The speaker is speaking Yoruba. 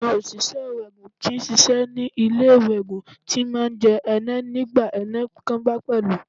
Àwọn oṣìṣẹ́ iwẹ́ẹ̀gùn tí ń ṣiṣẹ́ ní ilé iwẹ́ẹ̀gùn ti máa ń jẹ́ ẹnẹ́ nígbà ẹni kan bá pẹ́lú.